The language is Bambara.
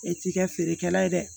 E t'i kɛ feerekɛla ye dɛ